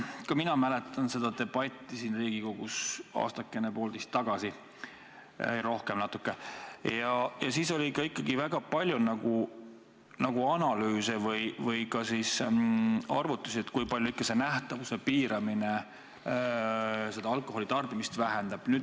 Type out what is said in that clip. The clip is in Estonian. Ka mina mäletan seda debatti Riigikogus aastakene-poolteist tagasi – ei, rohkem natuke –, ja siis oli väga palju analüüse või arvutusi, et kui palju see nähtavuse piiramine ikkagi alkoholitarbimist vähendab.